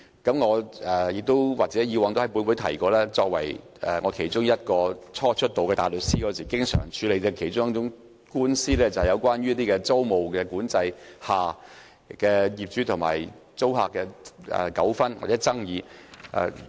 過往我亦曾在本會提過，我作為大律師，在初出道時經常要處理的其中一類官司，便是在租務管制下業主和租客的糾紛或爭議。